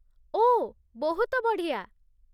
ଓଃ, ବହୁତ ବଢ଼ିଆ